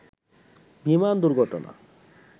বিমান দুর্ঘটনা